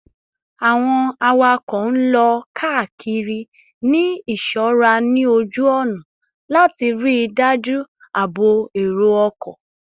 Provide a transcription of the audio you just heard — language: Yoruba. Awọn awakọ n lọ kiri ni iṣọra ni oju ọna lati rii daju aabo ero-ọkọ